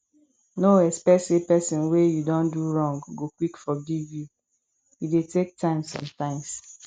no expect sey person wey you don do wrong go quick forgive you e dey take time sometimes